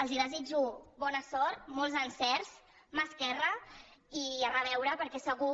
els desitjo bona sort molts encerts mà esquerra i a reveure perquè segur